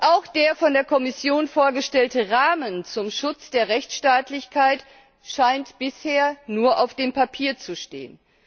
Auch der von der Kommission vorgestellte Rahmen zum Schutz der Rechtsstaatlichkeit scheint bisher nur auf dem Papier zu stehen.